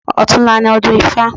Ọ̀tunla ni ọdún ifá.